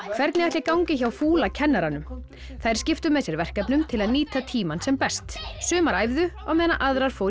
hvernig ætli gangi hjá fúla kennaranum þær skiptu með sér verkefnum til að nýta tímann sem best sumar æfðu meðan aðrar fóru í